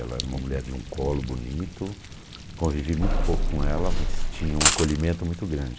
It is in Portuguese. Ela era uma mulher de um colo bonito, convivi muito pouco com ela, mas tinha um acolhimento muito grande.